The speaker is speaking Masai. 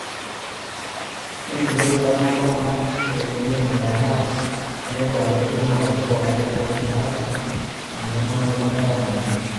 Ore ngulia rubat naalo kuna reteni ainguraa naa etii empikata ositima olosho pooki e rikore, naata eneyiataroto oleng te nkapuni.